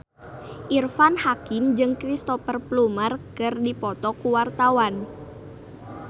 Irfan Hakim jeung Cristhoper Plumer keur dipoto ku wartawan